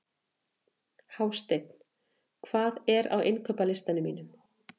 Hásteinn, hvað er á innkaupalistanum mínum?